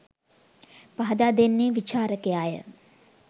පහදා දෙන්නේ විචාරකයාය.